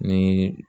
Ni